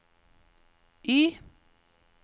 Y